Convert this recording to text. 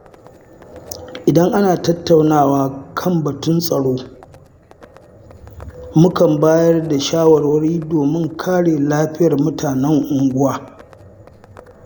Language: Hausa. Idan ana tattaunawa kan batun tsaro, mukan bayar da shawarwari domin kare lafiyar mutanen unguwa.